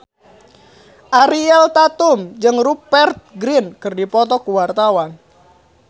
Ariel Tatum jeung Rupert Grin keur dipoto ku wartawan